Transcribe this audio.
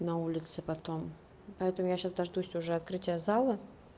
на улице потом поэтому я сейчас дождусь уже открытие зала